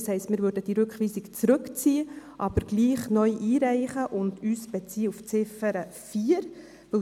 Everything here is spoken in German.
Das heisst, wir würden die Rückweisung zurückziehen, diese aber trotzdem neu einreichen und uns dabei auf Ziffer 4 beziehen.